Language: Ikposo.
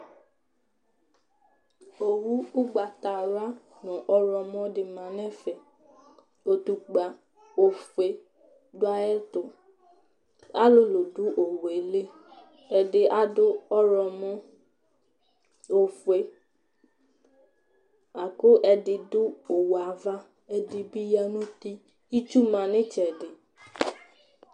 Owu ʋgbatawla nʋ ɔɣlɔmɔ dɩ ma nʋ ɛfɛ Utukpǝ ofue dʋ ayɛtʋ Alʋlʋ dʋ owu yɛ li Ɛdɩ adʋ ɔɣlɔmɔ, ofue la kʋ ɛdɩ dʋ owu yɛ ava, ɛdɩ bɩ ya nʋ uti Itsu ma nʋ ɩtsɛdɩ